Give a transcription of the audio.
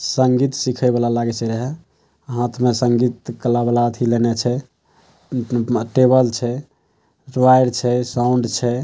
संगीत सीखे वाला लागे छै। रहे हाथ में संगीत कला-वला अथि लेना छै। टेबल छै साउंड छै।